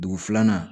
Dugu filanan